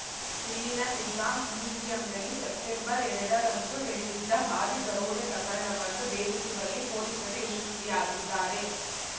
ಇಲ್ಲಿನ ನಿಜಾಮ್‌ ಮ್ಯೂಸಿಯಂನಲ್ಲಿ ಸೆಪ್ಟೆಂಬರ್ಎರಡರಂದು ನಡೆದಿದ್ದ ಭಾರೀ ದರೋಡೆ ಪ್ರಕರಣವನ್ನು ಭೇದಿಸುವಲ್ಲಿ ಪೊಲೀಸರು ಯಶಸ್ವಿಯಾಗಿದ್ದಾರೆ